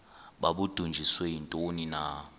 babudunjiswe yintoni na